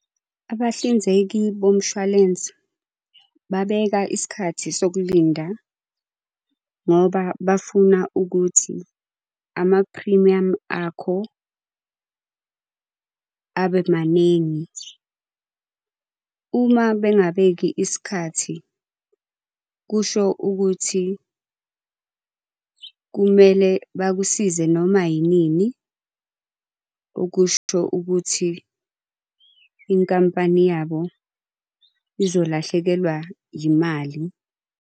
Abahlinzeki bomshwalense, babeka isikhathi sokulinda ngoba bafuna ukuthi amaphrimiyamu akho abe maningi. Uma bengabeki isikhathi, kusho ukuthi kumele bakusize noma inini, okusho ukuthi inkampani yabo izolahlekelwa yimali.